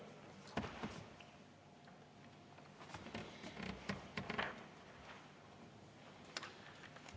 Aitäh!